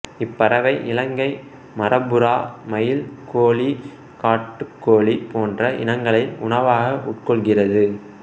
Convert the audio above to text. இப்பறவை இலங்கை மரப்புறா மயில் கோழி காட்டுக் கோழி போன்ற இனங்களை உணவாக உட்கொள்கிறது